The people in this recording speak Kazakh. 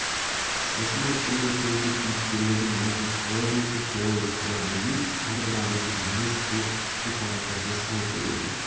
қысқасын айтқанда сөзді кейіпкерлердің аузына қалай болса солай сала бермей әрбір адамның мінез-құлық ақыл-парасатына сай қолдану